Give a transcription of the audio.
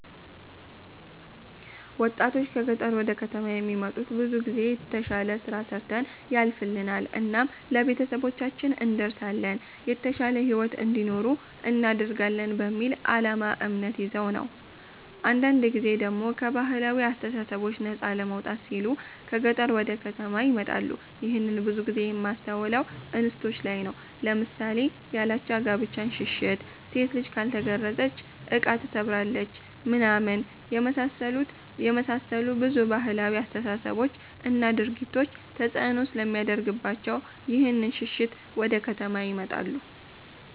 ወጣቶች ከ ገጠር ወደ ከተማ የሚመጡት ብዙ ጊዜ የተሽለ ስራ ሰርተን ያልፍልናል እናም ለቤተሰባችን እንደርሳለን የተሻለ ሂዎት እንዲኖሩ እናደርጋለን በሚል አላማ እምነት ይዘው ነው ነው። አንዳንድ ጊዜ ደሞ ከ ባህላዊ አስተሳሰቦች ነፃ ለመውጣት ሲሉ ከ ገጠር ወደ ከተማ ይመጣሉ ይህንን ብዙ ጊዜ የማስተውለው እንስቶች ላይ ነው ለምሳሌ ያላቻ ጋብቻን ሽሽት፣ ሴት ልጅ ካልተገረዘች እቃ ትሰብራለች ምናምን የመሳሰሉ ብዙ ባህላዊ አስተሳሰቦች እና ድርጊቶች ተፅእኖ ስለሚያደርግባቸው ይህንን ሽሽት ወደ ከተማ ይመጣሉ።